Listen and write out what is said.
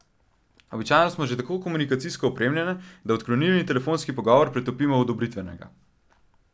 Običajno smo že tako komunikacijsko opremljene, da odklonilni telefonski pogovor pretopimo v odobritvenega.